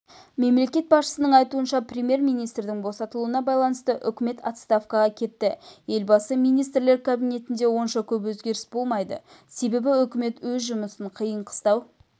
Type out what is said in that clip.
мемлекет басшысының айтуынша премьер-министрдің босатылуына байланысты үкімет отставкаға кетті елбасы министрлер кабинетінде онша көп өзгеріс болмайды себебі үкімет өз жұмысын қиын-қыстау